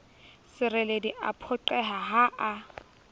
sereledi a phoqeha ha a